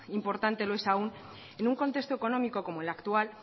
importante lo es aún en un contexto económico como el actual